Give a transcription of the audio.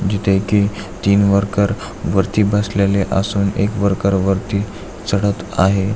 जिथे की तीन वर्कर वरती बसलेले असून एक वर्कर वरती चडत आहेत.